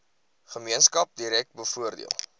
gemeenskap direk bevoordeel